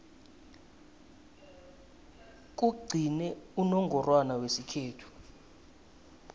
kugcine unongorwana wesikhethu